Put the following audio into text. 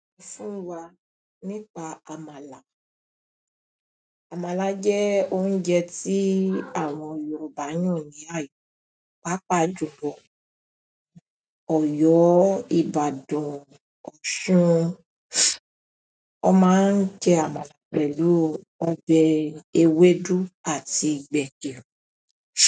Fún wa nípa àmàlà, àmàlà jẹ́ oúnjẹ tí àwọn Yorùbá yàn ní àyin pápá jùlọ, Ọ̀yọ́, Ìbàdàn, Ọ̀ṣun. Wọ́n máa ń jẹ àmàlà pẹ̀lú ọbẹ̀ ewédú àti gbẹ̀gìrì.